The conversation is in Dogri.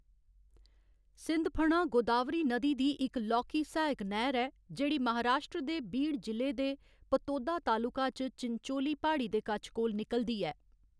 सिंधफणा गोदावरी नदी दी इक लौह्‌‌‌की सहायक नैह्‌र ऐ जेह्‌‌ड़ी महाराश्ट्र दे बीड जि'ले दे पतोदा तालुका च चिनचोली प्हाड़ी दे कच्छ कोल निकलदी ऐ।